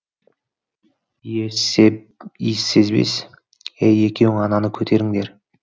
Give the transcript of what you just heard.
иіссезбес ей екеуің ананы көтеріңдер